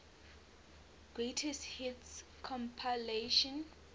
greatest hits compilation